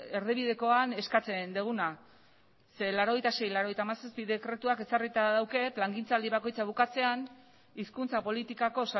erdibidekoan eskatzen duguna zeren laurogeita sei barra laurogeita hamazazpi dekretuak ezarrita dauka plangintzaldi bakoitza bukatzean hizkuntza politikako